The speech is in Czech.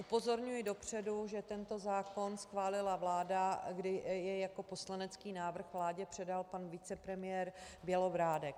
Upozorňuji dopředu, že tento zákon schválila vláda, kdy jej jako poslanecký návrh vládě předal pan vicepremiér Bělobrádek.